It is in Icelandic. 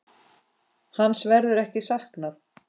Hans verður ekki saknað.